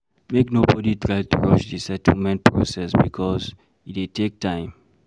Make nobody try to rush di settlement process because e dey take time